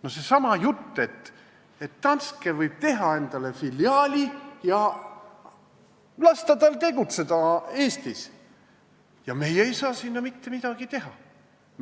See on seesama jutt, et Danske võib teha endale siin filiaali ja lasta tal Eestis tegutseda ning meie ei saa mitte midagi teha,